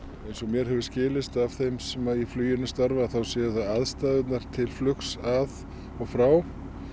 eins og mér hefur skilist af þeim sem í fluginu starfa á þá séu það aðstæðurnar til flugs að og frá